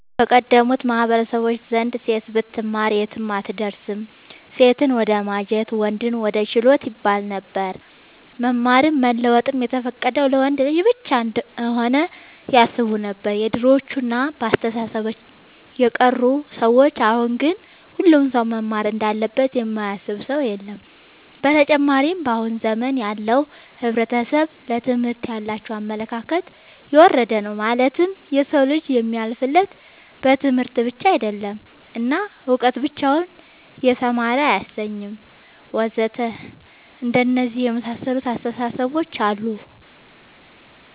በቀደሙት ማህበረሰቦች ዘንድ ሴት ብትማር የትም አትደርስም ሴትን ወደማጀት ወንድን ወደ ችሎት ይባለነበር። መማርም መለወጥም የተፈቀደው ለወንድ ልጅ ብቻ እንሆነ ያስቡነበር የድሮዎቹ እና በአስተሳሰባቸው የቀሩ ሰዎች አሁን ግን ሁሉም ሰው መማር እንዳለበት የማያስብ ሰው የለም። ብተጨማርም በአሁን ዘመን ያለው ሕብረተሰብ ለትምህርት ያላቸው አመለካከት የወረደ ነው ማለትም የሰው ልጅ የሚያልፍለት በትምህርት ብቻ አይደለም እና እውቀት ብቻውን የተማረ አያሰኝም ወዘተ አንደነዚህ የመሳሰሉት አስታሳሰቦች አሉ